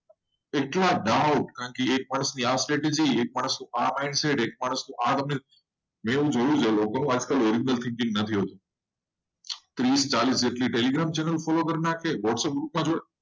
કેટલા દાવો એટલા mind set એટલા status પોતાની original thinking નહીં હોય. પચાસ જેટલી ચેનલો જોઈ પડશે.